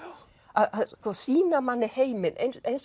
að sýna manni heiminn